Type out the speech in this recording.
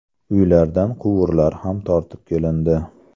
Uylardan quvurlar ham tortib kelindi.